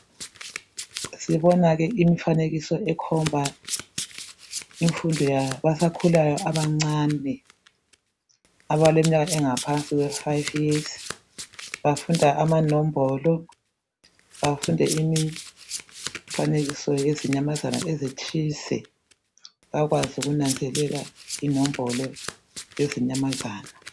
sibona ke imfanekiso ekhomba imfundo yabasakhulayo abancane abaleminyaka engaphansi kwe five years bafunda amanombolo bafunde imfanekiso yezinyamazana ezithize bakwazi ukunanzelale inombolo lezinyamazana